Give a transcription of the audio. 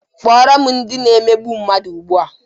Kpọrọ m ndị na-emegbu mmadụ ugbua!